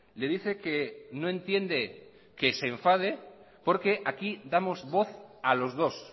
le dice que no entiende que se enfade porque aquí damos voz a los dos